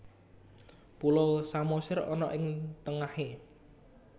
Pulau Samosir ana ing tengahe?